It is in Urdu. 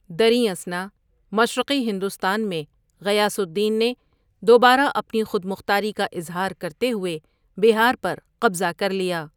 دریں اثنا، مشرقی ہندوستان میں غیاث الدین نے دبارہ اپنی خود مختاری کا اظہار کرتے ہوئے بہار پر قبضہ کر لیا۔